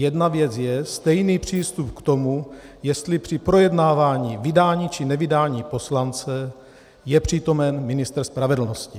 Jedna věc je stejný přístup k tomu, jestli při projednávání vydání či nevydání poslance je přítomen ministr spravedlnosti.